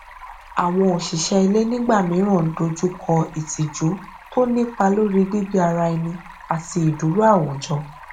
àwọn òṣìṣẹ ilé nígbà mìíràn n dojú kọ ìtìjú tó nípá lórí gbígbé ara ẹni àti ìdúró àwùjọ